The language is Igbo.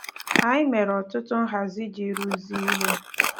Anyị mere ọtụtụ nhazi iji rụzie ihe.